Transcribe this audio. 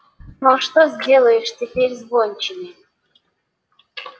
но что сделаешь теперь с гончими